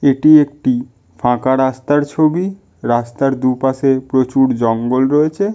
এটি একটি ফাঁকা রাস্তার ছবি রাস্তার দুপাশে প্রচুর জঙ্গল রয়েছে--